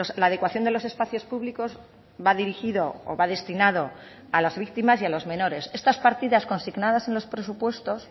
la adecuación de los espacios públicos va dirigido o va destinado a las víctimas y a los menores estas partidas consignadas en los presupuestos